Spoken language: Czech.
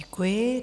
Děkuji.